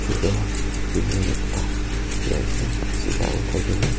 chotu building ekta dikhi ase sidha uthai ke na.